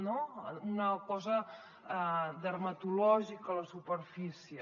no una cosa dermatològica a la superfície